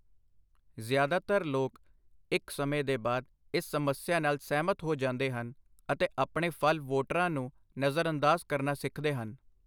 ਜ਼ਿਆਦਾਤਰ ਲੋਕ ਇੱਕ ਸਮੇਂ ਦੇ ਬਾਅਦ ਇਸ ਸਮੱਸਿਆ ਨਾਲ ਸਹਿਮਤ ਹੋ ਜਾਂਦੇ ਹਨ ਅਤੇ ਆਪਣੇ ਫ਼ਲ ਵੋਟਰਾਂ ਨੂੰ ਨਜ਼ਰਅੰਦਾਜ਼ ਕਰਨਾ ਸਿੱਖਦੇ ਹਨ।